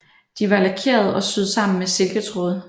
De var lakerede og syet sammen med silketråd